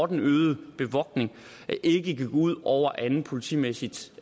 den øgede bevogtning ikke går ud over andet politimæssigt